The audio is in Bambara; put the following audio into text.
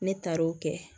Ne taar'o kɛ